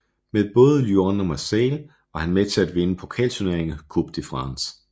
Med både Lyon og Marseille var han med til at vinde pokalturneringen Coupe de France